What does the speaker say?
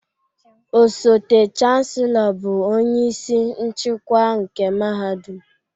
Osote Chancellor bụ onye isi nchịkwa nke mahadum